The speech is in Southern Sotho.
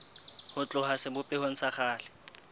ho tloha sebopehong sa kgale